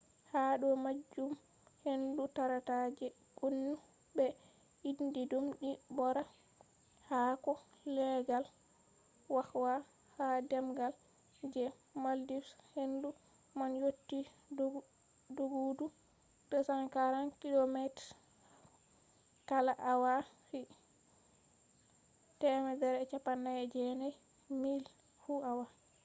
ha do majum hendu tarata je gonu be indi dum ni bora haako leggal kwakwa ha demgal je maldives hendu man yotti doggudu 240 kilometers kala awa fu 149 miles fu awa